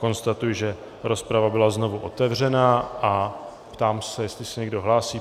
Konstatuji, že rozprava byla znovu otevřena, a ptám se, jestli se někdo hlásí.